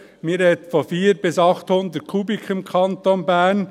Man spricht von 400 bis 800 Kubikmetern im Kanton Bern.